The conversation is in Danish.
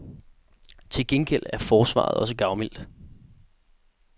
Til gengæld er forsvaret også gavmildt.